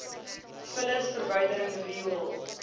vullis verwydering riool